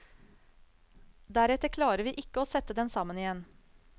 Deretter klarer vi ikke å sette den sammen igjen.